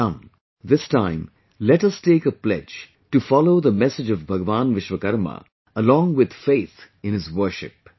Come, this time let us take a pledge to follow the message of Bhagwan Vishwakarma along with faith in his worship